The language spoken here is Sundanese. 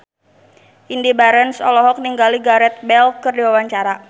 Indy Barens olohok ningali Gareth Bale keur diwawancara